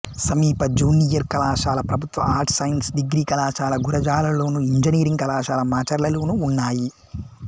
సమీప జూనియర్ కళాశాల ప్రభుత్వ ఆర్ట్స్ సైన్స్ డిగ్రీ కళాశాల గురజాలలోను ఇంజనీరింగ్ కళాశాల మాచర్లలోనూ ఉన్నాయి